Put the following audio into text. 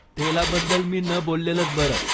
तेलाबद्दल मी न बोललेलंच बरं